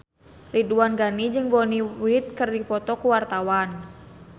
Ridwan Ghani jeung Bonnie Wright keur dipoto ku wartawan